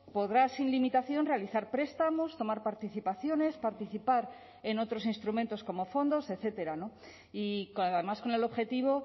podrá sin limitación realizar prestamos tomar participaciones participar en otros instrumentos como fondos etcétera y además con el objetivo